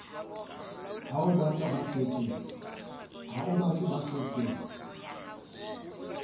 ho o batang ba setseng